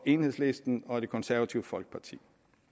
enhedslisten og det konservative folkeparti